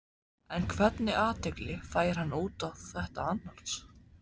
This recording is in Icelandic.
En hvernig athygli fær hann út á þetta annars?